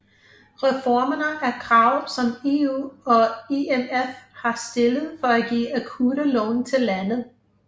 Reformerne er krav som EU og IMF har stillet for at give akutte lån til landet